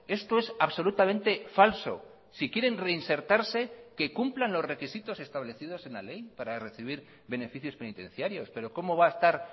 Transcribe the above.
esto es absolutamente falso si quieren reinsertarse que cumplan los requisitos establecidos en la ley para recibir beneficios penitenciarios pero cómo va a estar